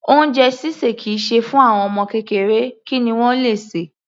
Oúnjẹ ṣíṣè kì í ṣe fún àwọn ọmọ kékeré, kí ni wọ́n le sè?